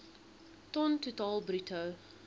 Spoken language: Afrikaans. ton totaal bruto